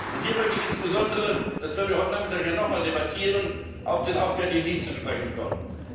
Und hier möchte ich insbesondere das werden wir heute Nachmittag ja nochmals debattieren auf den Auswärtigen Dienst zu sprechen kommen.